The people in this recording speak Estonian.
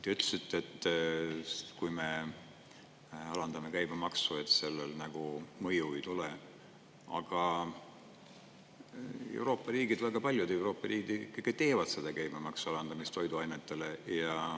Te ütlesite, et kui me alandame käibemaksu, et sellel mõju ei tule, aga Euroopa riigid, väga paljud Euroopa riigid ikkagi teevad seda käibemaksu alandamist toiduainetele.